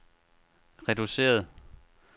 reduceret